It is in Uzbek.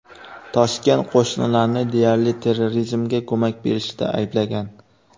Toshkent qo‘shnilarni deyarli terrorizmga ko‘mak berishida ayblagan.